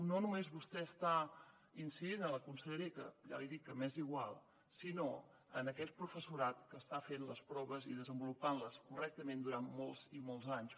no només vostè està incidint en la conselleria que ja li dic que m’és igual sinó en aquest professorat que ha estat fent les proves i desenvolupant les correctament durant molts i molts anys